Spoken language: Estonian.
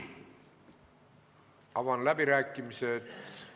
Avan läbirääkimised.